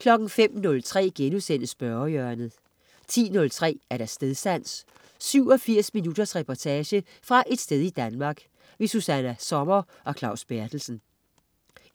05.03 Spørgehjørnet* 10.03 Stedsans. 87 minutters reportage fra et sted i Danmark. Susanna Sommer og Claus Berthelsen